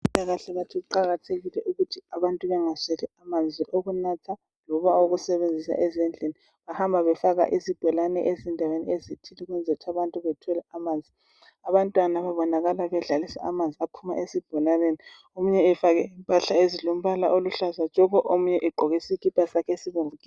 Abezempilakahle bathi kuqakathekile ukuthi abantu bengasweli amanzi wokunatha loba awokusebenzisa ezindlini bahamba befaka izbholane endaweni ezithile ukuthi bethole amanzi abantwana laba babonakala bedlalisa amanzi aphuma esibholaneni omunye efake impahla ezilombala oluhlaza tshoko omunye egqoke isikipa sakhe esibomvu gebhu